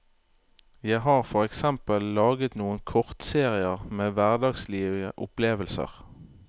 Jeg har for eksempel laget noen kortserier med hverdagslige opplevelser.